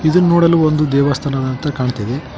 ಇದುನ್ ನೋಡಲು ಒಂದು ದೇವಸ್ಥಾನದಂತೆ ಕಾಣ್ತಿದೆ.